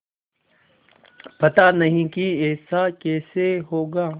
पता नहीं कि ऐसा कैसे होगा